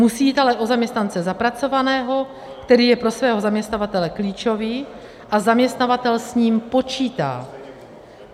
Musí jít ale o zaměstnance zapracovaného, který je pro svého zaměstnavatele klíčový a zaměstnavatel s ním počítá.